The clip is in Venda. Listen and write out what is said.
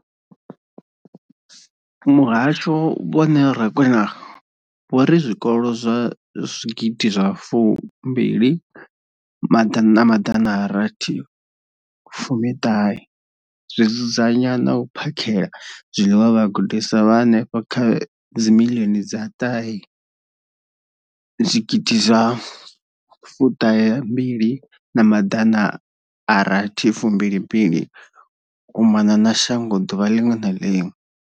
Muhasho, Vho Neo Rakwena, vho ri zwikolo zwa fu mbili maḓana a rathi fumi ṱahe zwi dzudzanya na u phakhela zwiḽiwa vhagudiswa vha henefha kha dzi miḽioni dza ṱahe zwigidi zwa fu ṱahe mbili na maḓana a rathu u mbili mbili u mona na shango ḓuvha ḽiṅwe na ḽiṅwe.